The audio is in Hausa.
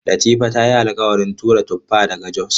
Latifa ta yi alƙawarin tura tuffa daga Jos.